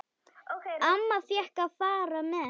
Amma fékk að fara með.